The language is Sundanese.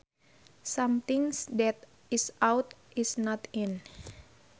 Something that is out is not in